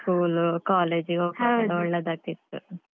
School college ಹೋಗ್ವಗ್ಯೆಲ್ಲ ಒಳ್ಳೇದಾಗ್ತಿತ್ತು.